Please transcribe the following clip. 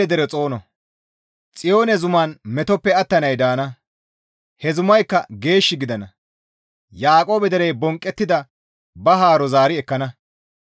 «Xiyoone zuman metoppe attanay daana; he zumayakka geesh gidana; Yaaqoobe derey bonqqettida ba haaro zaari ekkana.